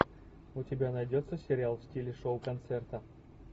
у тебя найдется сериал в стиле шоу концерта